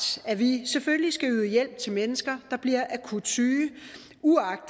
at vi selvfølgelig skal yde hjælp til mennesker der bliver akut syge